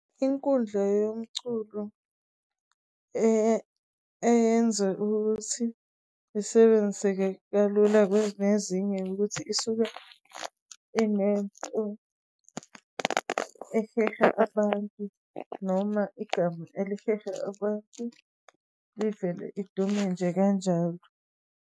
Inkundla yomculo eyenze ukuthi isebenzise kalula kwezinye, ukuthi isuke inento eheha abantu noma igama eliheha abantu ivele idume nje kanjalo.